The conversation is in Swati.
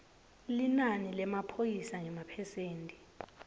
linani lemaphoyisa ngemaphesenti